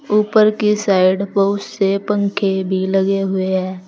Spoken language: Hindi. ऊपर की साइड बहुत से पंखे भी लगे हुए हैं।